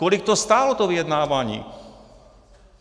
Kolik to stálo, to vyjednávání?